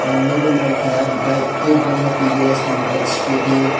ang nugui manka bike kwbangma tvs ni bike scooty.